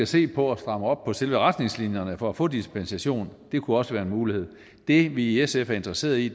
se på at stramme op på selve retningslinjerne for at få dispensation det kunne også være en mulighed det vi i sf er interesserede i